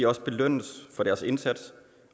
også belønnes for deres indsats